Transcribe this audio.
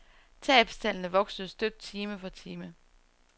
Tabstallene voksede støt time for time.